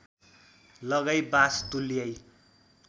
लगाई बास तुल्याई